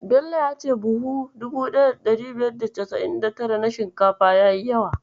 Bello ya ce buhu 1599 na shinkafa yayi yawa.